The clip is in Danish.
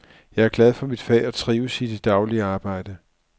Jeg er glad for mit fag og trives i det daglige arbejde.